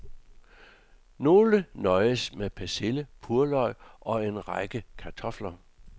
Nogen nøjes med persille, purløg og en række kartofler.